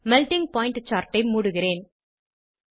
melting point chartஐ மூடுகிறேன்